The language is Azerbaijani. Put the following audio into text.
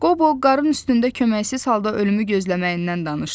Qobo qarın üstündə köməksiz halda ölümü gözləməyindən danışdı.